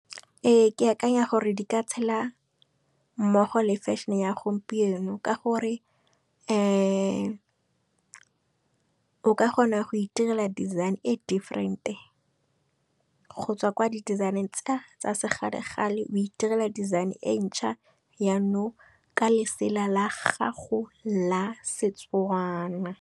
Ee ke akanya gore di ka tshela mmogo le fešhene e ya gompieno, ka gore o ka kgona go itirela design e different-e. Go tswa kwa di design-eng tsa sekgale-kgale o itirela design e ntšha yanong ka lesela la gago la setswana.